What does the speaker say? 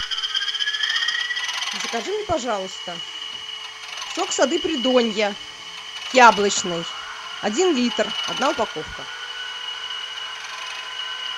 закажи мне пожалуйста сок сады придонья яблочный один литр одна упаковка